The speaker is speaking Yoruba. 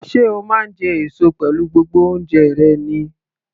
Sé o máa ń jẹ èso pẹ̀lú gbogbo oúnjẹ rẹ ni?